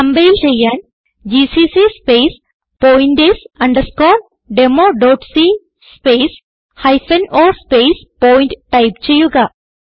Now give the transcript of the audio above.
compile ചെയ്യാൻ GCC space pointers underscore demo dot c space hyphen o space point type ചെയ്യുക